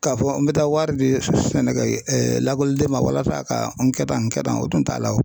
K'a fɔ n bɛ taa wari di sɛnɛkɛ lakɔliden ma walasa a ka n kɛ tan n kɛ tan o tun t'a la wo